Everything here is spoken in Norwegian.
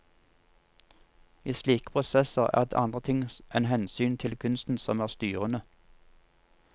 I slike prosesser er det andre ting enn hensynet til kunsten som er styrende.